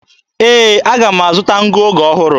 Ee, aga m azụta ngụoge ọhụrụ.